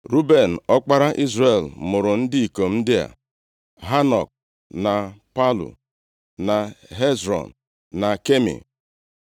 Ruben, ọkpara Izrel mụrụ ndị ikom ndị a: Hanok, na Palu, na Hezrọn, na Kami.